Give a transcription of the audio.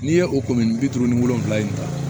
N'i ye o bi duuru ni wolonvila in ta